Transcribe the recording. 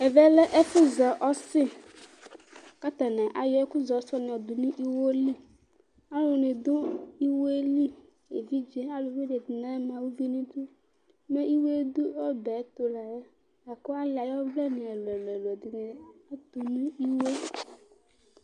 Ɛvɛlɛ ɛfʋzɛ ɔsi kʋ atani ayɔ ɛkʋzɛ ɔsiyɛ yɔdʋnʋ iwoli, alʋni dʋ iwoeli evidze, alʋwuni ɛdini ama ʋvi nʋ idʋ mɛ iwoe dʋ ɔbɛtʋ layɛ lakʋ ali ayʋ ɔvlɛ ɛlʋ ɛlʋ ɛlʋ ɔtʋnʋ iwoe.